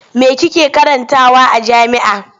Me kike karantawa a jami'a?